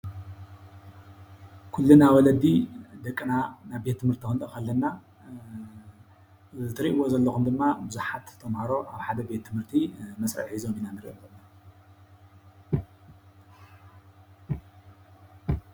ኩሉና ወለዲ ደቅና ናብ ቤት ትምህርቲ ኽንልእኽ ኣለና። እትሪእዎ ዘለኹም ድማ ቡዙሓት ተምሃሮ ኣብ ሓደ ቤት ትምህርቲ መስርዕ ሒዞም ይረአየና ኣሎ።